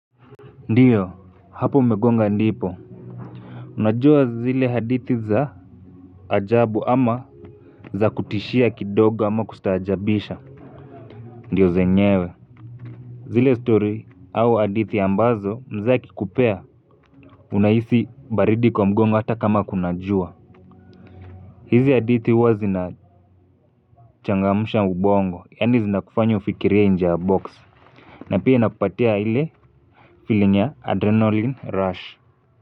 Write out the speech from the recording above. Ndiyo hapo umegonga ndipo unajua zile hadithi za ajabu ama za kutishia kidogo ama kustaajabisha ndiyo zenyewe zile story au hadithi ambazo mzee akikupea unahisi baridi kwa mgongo hata kama kuna jua hizi hadithi huwa zinachangamusha ubongo yani zinakufanya ufikirie inje ya box na pia inakupatia ile filing ya adrenaline rush.